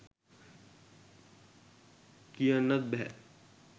කියන්නත් බැහැ.